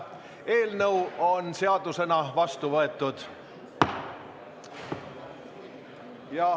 Eelnõu on seadusena vastu võetud.